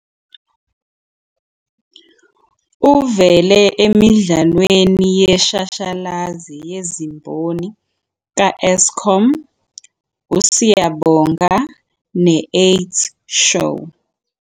U"vele emidlalweni yeshashalazi yezimboni ka- Eskom, uSiyabonga ne- AIDS Show.